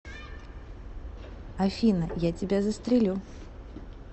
афина я тебя застрелю